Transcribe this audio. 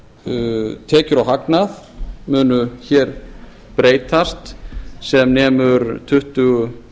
á tekjur og hagnað munu breytast sem nemur tuttugu